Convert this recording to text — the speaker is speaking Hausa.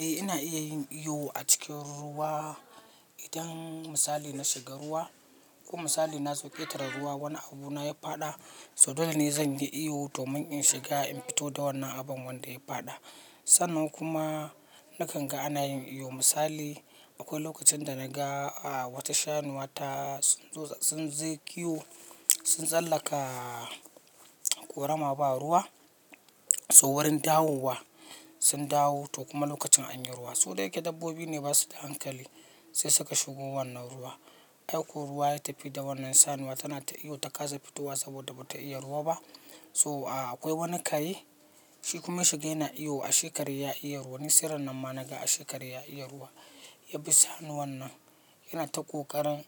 Eh ina iya yin iyo a cikin ruwa. Idan misali na shiga ruwa ko misali na zo ketara ruwa wani abu na ya fada so dole ne zan yi iyo domin in shiga in fito da wannan abun wanda ya fada. Sannan kuma nakan ga ana yin iyo misali akwai lokacin da na ga a wata shanuwa ta sun zo sun ze kiwo sun tsallaka ƙorama ba ruwa. So wurin dawowa sun dawu toh kuma lokacin anyi ruwa. Su dayake dabbobi ne basu da hankali sai suka shigo wannan ruwa. Ai ko ruwa ya tafi da wannan shanuwa tana ta iyo ta ƙasa fitowa saboda bata iya ruwa ba. So a akwai wani kare shi kuma shiga yana iyo ashe kare ya iya ruwa. Ni se rannan ma naga ashe kare ya iya ruwa ya bi shanuwan nan yana ta ƙoƙarin